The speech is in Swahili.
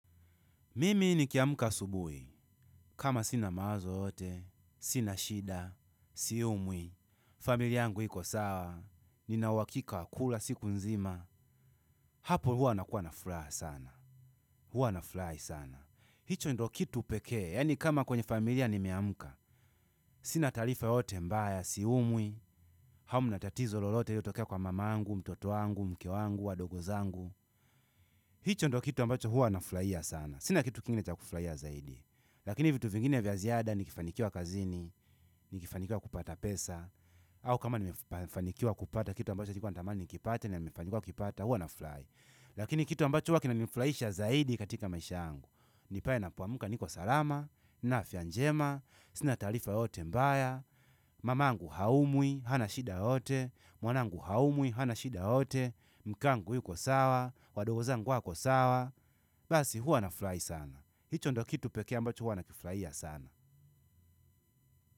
Mimi nikiamka asubuhi, kama sina mawazo yoyote, sina shida, siumwi, familia yangu iko sawa, nina uhakika kula siku nzima, hapo huwa nakuwa na furaha sana, huwa nafurahi sana. Hicho ndo kitu pekee, yaani kama kwenye familia nimeamka, sina taarifa yoyote mbaya, siumwi, hamna tatizo lolote iliotokea kwa mamangu, mtoto wangu, mke wangu, wadogo zangu. Hicho ndo kitu ambacho huwa nafurahia sana sina kitu kingine cha kufurahia zaidi lakini vitu vingine vya ziada nikifanikiwa kazini nikifanikiwa kupata pesa au kama nimefanikiwa kupata kitu ambacho nilikuwa natamani nikipate na nimefanikiwa kukipata huwa nafurahi lakini kitu ambacho huwa kinanifurahisha zaidi katika maisha yangu ni pale ninapoamka niko salama na afya njema sina taarifa yoyote mbaya mamangu haumwi, hana shida yoyote, mwanangu haumwi, hana shida yoyote, mke wangu yuko sawa, wadogo zangu wako sawa basi huwa nafurahi sana. Hicho ndo kitu pekee ambacho huwa nakifurahia sana.